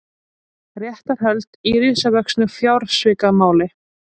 Réttarhöld í risavöxnu fjársvikamáli